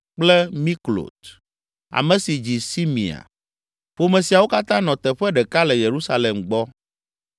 kple Miklot, ame si dzi Simea. Ƒome siawo katã nɔ teƒe ɖeka le Yerusalem gbɔ.